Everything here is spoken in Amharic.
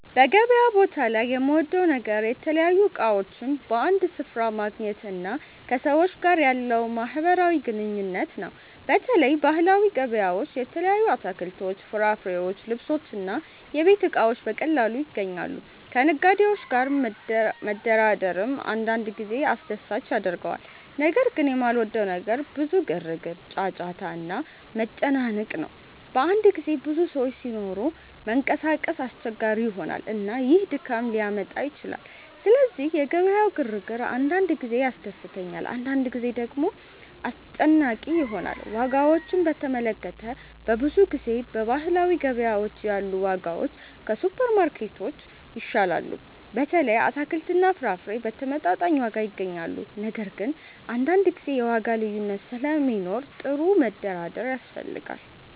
በገበያ ቦታ ላይ የምወደው ነገር የተለያዩ እቃዎችን በአንድ ስፍራ ማግኘት እና ከሰዎች ጋር ያለው ማህበራዊ ግንኙነት ነው። በተለይ ባህላዊ ገበያዎች የተለያዩ አትክልቶች፣ ፍራፍሬዎች፣ ልብሶች እና የቤት እቃዎች በቀላሉ ይገኛሉ። ከነጋዴዎች ጋር መደራደርም አንዳንድ ጊዜ አስደሳች ያደርገዋል። ነገር ግን የማልወደው ነገር ብዙ ግርግር፣ ጫጫታ እና መጨናነቅ ነው። በአንዳንድ ጊዜ ብዙ ሰዎች ሲኖሩ መንቀሳቀስ አስቸጋሪ ይሆናል፣ እና ይህ ድካም ሊያመጣ ይችላል። ስለዚህ የገበያው ግርግር አንዳንድ ጊዜ ያስደስተኛል፣ አንዳንድ ጊዜ ደግሞ አስጨናቂ ይሆናል። ዋጋዎችን በተመለከተ፣ በብዙ ጊዜ በባህላዊ ገበያዎች ያሉ ዋጋዎች ከሱፐርማርኬቶች ይሻላሉ። በተለይ አትክልትና ፍራፍሬ በተመጣጣኝ ዋጋ ይገኛሉ። ነገር ግን አንዳንድ ጊዜ የዋጋ ልዩነት ስለሚኖር ጥሩ መደራደር ያስፈልጋል።